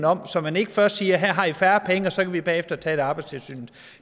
om så man ikke først siger her har i færre penge og så kan vi bagefter tale arbejdstilsynet